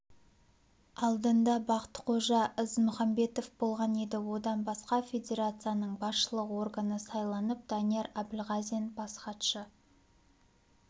алдында бақтықожа ізмұхамбетов болған еді одан басқа федерацияның басшылық органы сайланып данияр әбілғазин бас хатшы